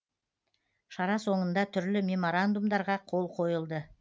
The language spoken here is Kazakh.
шара соңында түрлі меморандумдарға қол қойылды